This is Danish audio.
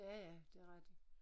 Ja ja det rigtigt